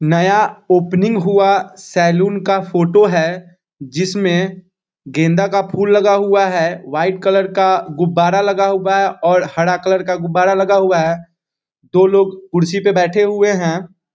नया ओपनिंग हुआ सैलून का फोटो है जिसमे गेंदा का फूल लगा हुआ है व्हाइट कलर का गुबारा लगा हुआ है और हरा कलर का गुबारा लगा हुआ है दो लोग कुर्सी पे बैठे हुए हैं।